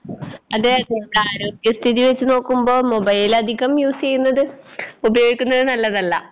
അതെയതെ നമ്മടെ ആരോഗ്യസ്ഥിതിവെച്ച് നോക്കുമ്പോ മൊബൈലധികം യൂസ്സേയ്യുന്നത് ഉപയോഗിക്കുന്നത് നല്ലതല്ല.